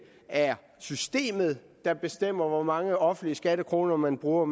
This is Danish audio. er systemet der bestemmer hvor mange offentlige skattekroner man bruger